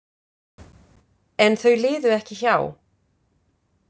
En þau liðu ekki hjá.